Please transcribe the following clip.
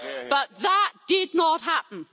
But that did not happen.